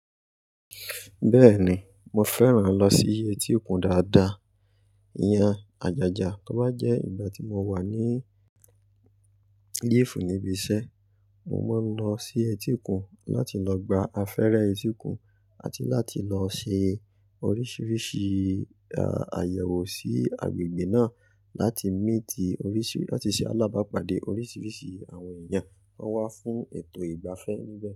Bẹ́ẹ̀ni, mo fẹ́ràn lọ sí etíkun dáadáa, ìyen, àjàjà. Tó bá jẹ́ ìgbà tí mo wà ní liifù níbi iṣẹ́, mo máa ń lọ sí etíkun láti lọ gba afẹ́rẹ etíkun àti láti lọ ṣe oríṣiríṣi, ayẹ̀wò sí agbègbè náà láti míìtì oríṣì, láti ṣe alábàápàdé oríṣiríṣi àwọn èèyàn tan wá fún ètò ìgbafẹ́ níbẹ̀